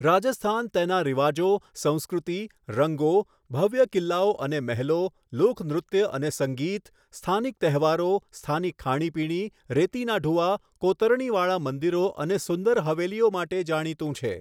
રાજસ્થાન તેના રિવાજો, સંસ્કૃતિ, રંગો, ભવ્ય કિલ્લાઓ અને મહેલો, લોકનૃત્ય અને સંગીત, સ્થાનિક તહેવારો, સ્થાનિક ખાણીપીણી, રેતીના ઢૂવા, કોતરણીવાળાં મંદિરો અને સુંદર હવેલીઓ માટે જાણીતું છે.